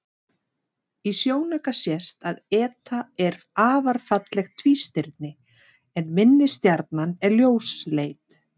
Í sjónauka sést að eta er afar fallegt tvístirni en minni stjarnan er ljósleit.